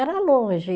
Era longe.